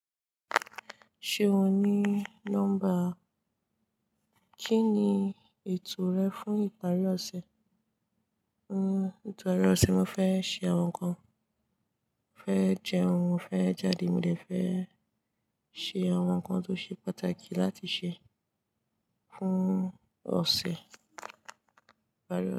Ṣé o ní nọ́ḿbà? Kí ni ètò rẹ fún ìparí ọ̀sẹ̀? Nítorí ọ̀sẹ̀ mo fẹ́ ṣe àwọn nǹkan, mo fẹ́ jẹ ohun mo fẹ́ jáde, mo lè fẹ́ ṣe àwọn nǹkan tó ṣe pàtàkì láti ṣe fún ọ̀sẹ̀. Ìparí ọ̀sẹ̀